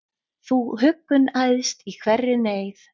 Þú huggun æðst í hverri neyð,